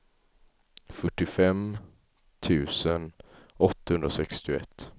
fyrtiofem tusen åttahundrasextioett